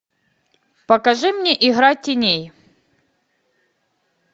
покажи мне игра теней